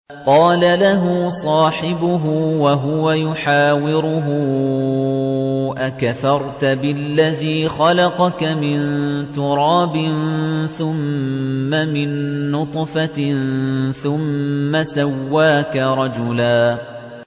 قَالَ لَهُ صَاحِبُهُ وَهُوَ يُحَاوِرُهُ أَكَفَرْتَ بِالَّذِي خَلَقَكَ مِن تُرَابٍ ثُمَّ مِن نُّطْفَةٍ ثُمَّ سَوَّاكَ رَجُلًا